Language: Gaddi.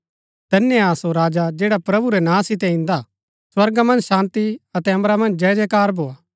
धन्य हा सो राजा जैडा प्रभु रै नां सितै इन्दा हा स्वर्गा मन्ज शान्ती अतै अम्बरा मन्ज जयजयकार भोआ